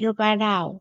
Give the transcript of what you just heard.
yo vhalaho.